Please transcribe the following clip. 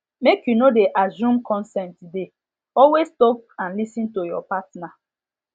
make you no de assume consent de always talk and lis ten to your partner